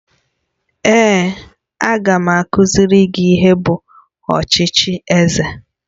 Èé, a ga m akụziri gị ihe bụ ọchịchị eze